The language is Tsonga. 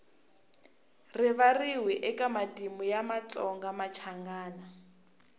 rivariwi eka matimu ya vatsongamachangana